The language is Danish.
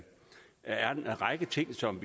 række ting som